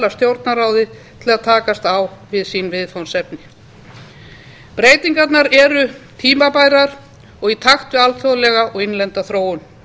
til að takast á við viðfangsefni sín breytingarnar eru tímabærar og í takt við alþjóðlega og innlenda þróun